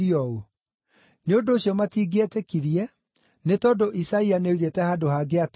Nĩ ũndũ ũcio matingĩetĩkirie, nĩ tondũ Isaia nĩoigĩte handũ hangĩ atĩrĩ: